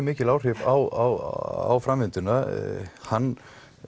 mikil áhrif á framvinduna hann